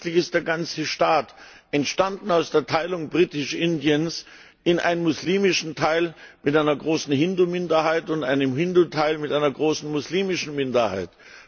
So künstlich ist der ganze Staat, entstanden aus der Teilung Britisch Indiens in einen muslimischen Teil mit einer großen Hindu Minderheit und einen Hindu Teil mit einer großen muslimischen Minderheit.